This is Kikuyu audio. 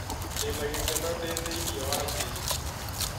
Ndĩna gĩkeno ndĩthĩinĩ wa jesũ